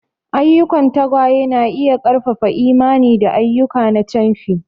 Ayyukan tagwaye na iya ƙarfafa imani da ayyuka na camfi.